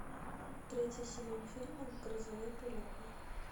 третий сезон фильма грозовой перевал